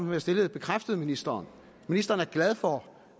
jeg stillede bekræftede ministeren ministeren er glad for